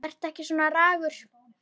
Vertu ekki svona ragur.